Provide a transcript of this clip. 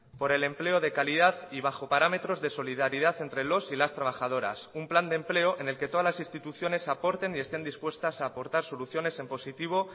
por el empleo de calidad y bajo parámetros de solidaridad entre los y las trabajadoras un plan de empleo en el que todas las instituciones aporten y estén dispuestas a aportar soluciones en positivo